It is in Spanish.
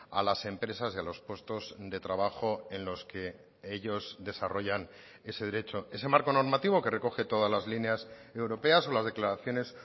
a las empresas y a los puestos de trabajo en los que ellos desarrollan ese derecho ese marco normativo que recoge todas las líneas europeas o las declaraciones